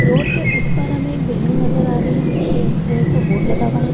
Road के उस पार हमे एक बिल्डिंग नजर आ रही है जिसपे एस.बी.आई. का बोर्ड लगा हुआ है ।